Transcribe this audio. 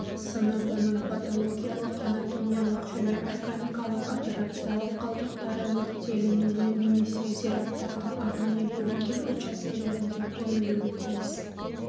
сыныбының паталогиялық-анатомиялық және органикалық операциялық қалдықтары өртелінуі немесе зираттардың арнайы бөлінген учаскелерінде көмілуі тиіс